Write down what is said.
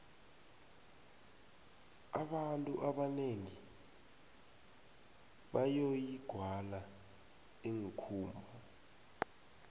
abantu ebanengi boyoyi gwala ikumba